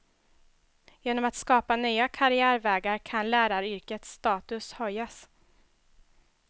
Genom att skapa nya karriärvägar kan läraryrkets status höjas.